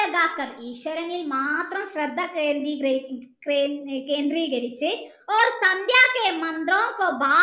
ഈശ്വരനിൽ മാത്രം ശ്രദ്ധ കേന്ദ്രികരിച്ച്